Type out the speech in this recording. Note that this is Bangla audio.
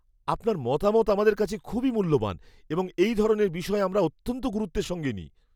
আপনার মতামত আমাদের কাছে খুবই মূল্যবান এবং এই ধরনের বিষয় আমরা অত্যন্ত গুরুত্বের সঙ্গে নিই।